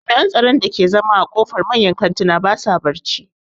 Jami'an tsaron da ke zama a ƙofar manyan kantuna ba sa barci